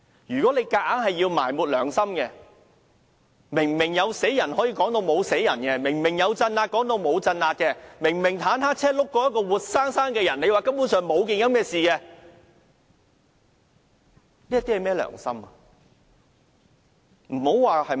如果要強行埋沒良心，明明有人死了，也可以說沒有人死；明明有鎮壓，也可以說沒有鎮壓；明明坦克車輾過一個活生生的人，也可以說根本沒有這回事，這是甚麼良心？